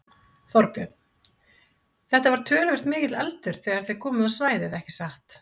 Þorbjörn: Þetta var töluvert mikill eldur þegar þið komuð á svæðið ekki satt?